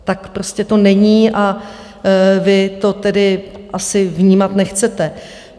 Tak to prostě není a vy to tedy asi vnímat nechcete.